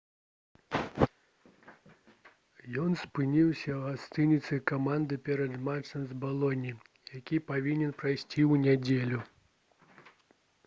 ён спыніўся ў гасцініцы каманды перад матчам з балонняй які павінен прайсці ў нядзелю